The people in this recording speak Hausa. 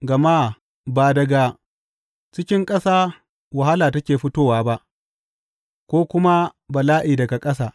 Gama ba daga cikin ƙasa wahala take fitowa ba, ko kuma bala’i daga ƙasa.